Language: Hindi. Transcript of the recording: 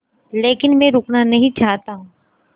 लेकिन मैं रुकना नहीं चाहता